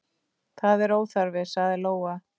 Það er óþarfi, sagði Lóa.